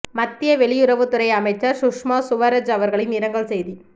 மத்திய வெளியுறவுத் துறை அமைச்சர் சுஷ்மா சுவரஜ் அவர்களின் இரங்கல் செய்தி